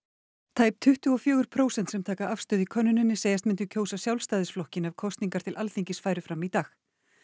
tæp tuttugu og fjögur prósent sem taka afstöðu í könnuninni segjast myndu kjósa Sjálfstæðisflokkinn ef kosningar til Alþingis færu fram í dag